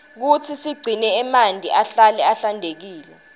kutsi sigcine emanti ahlale ahlantekile